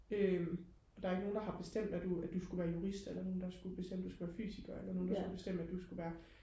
øhm der er jo ikke nogen der har bestemt at du at du skulle være jurist eller nogen der skulle bestemme du skulle være fysiker eller nogen der skulle bestemme du skulle være